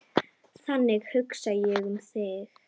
Þannig hugsaði ég um þig.